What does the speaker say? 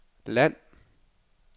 land